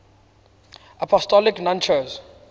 apostolic nuncios